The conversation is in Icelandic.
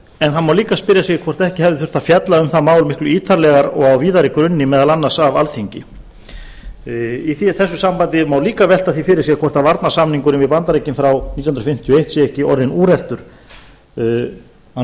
en það má líka spyrja sig hvort ekki hafi þurft að fjalla um það miklu ítarlegar og á víðari grunni meðal annars af alþingi í þessu sambandi má líka velta því fyrir sér hvort varnarsamningurinn við bandaríkin frá nítján hundruð fimmtíu og eitt sé ekki orðinn úreltur hann